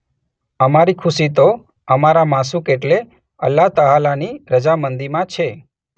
અમારી ખુશી તો અમારા માશૂક એટલે અલ્લાહ તઆલાની રઝામંદીમાં છે.